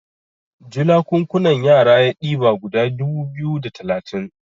julakunkunan yara ya diba guda dubu biyu da talatin